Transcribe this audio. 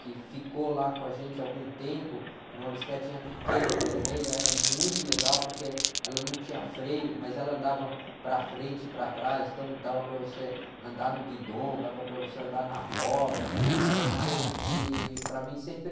que ficou lá com a gente algum tempo, era uma bicicletinha pequena, vermelha, era muito legal porque ela não tinha freio, mas ela andava para frente e para trás, então dava para você andar no guidom, dava para você andar na roda, era uma coisa que para mim sempre...